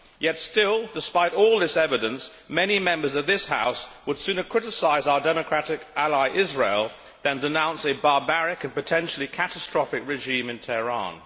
Yet still, despite all this evidence, many Members of this House would sooner criticise our democratic ally Israel, than denounce a barbaric and potentially catastrophic regime in Tehran.